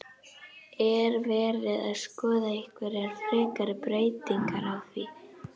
Er verið að skoða einhverjar frekari breytingar á því?